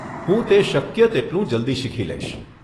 હું તે શક્ય તેટલું જલ્દી શીખી લઈશ.